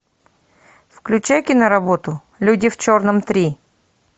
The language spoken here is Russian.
включай киноработу люди в черном три